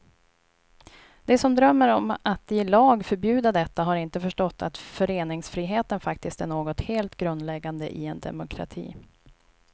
De som drömmer om att i lag förbjuda detta har inte förstått att föreningsfriheten faktiskt är något helt grundläggande i en demokrati.